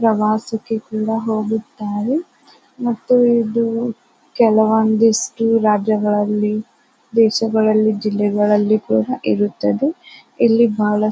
ಪ್ರವಾಸಕ್ಕೆ ಕೂಡ ಹೋಗುತ್ತಾರೆ. ಮತ್ತು ಇದು ಕೆಲವೊಂದಿಷ್ಟು ರಾಜ್ಯ ಗಳಲ್ಲಿ ದೇಶಗಳಲ್ಲಿ ಜಿಲ್ಲೆಗಳಲ್ಲಿ ಇರುತ್ತದೆ. ಇಲ್ಲಿ ಬಾಹ --